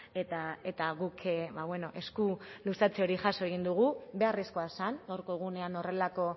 eta guk esku luzatze hori jaso egin dugu beharrezkoa zen gaurko egunean horrelako